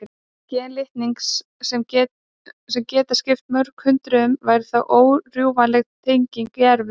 Gen litningsins, sem geta skipt mörgum hundruðum, væru þá órjúfanlega tengd í erfðum.